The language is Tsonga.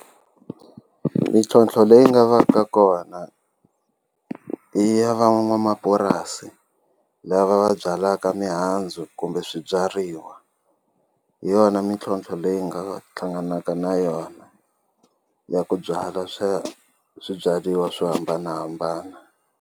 Mintlhontlho leyi nga va ka kona i ya van'wamapurasi lava va byalaka mihandzu kumbe swibyariwa hi yona mintlhontlho leyi nga hlanganaka na yona ya ku byala swa swibyariwa swo hambanahambana.